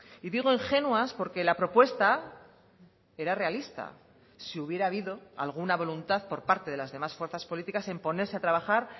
y digo ingenuas porque la propuesta era realista si hubiera habido alguna voluntad por parte de las demás fuerzas políticas en ponerse a trabajar